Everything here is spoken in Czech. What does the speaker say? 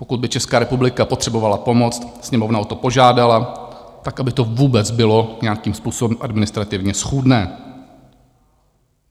Pokud by Česká republika potřebovala pomoct, Sněmovna o to požádala, tak aby to vůbec bylo nějakým způsobem administrativně schůdné.